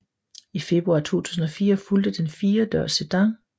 I februar 2004 fulgte den firedørs sedan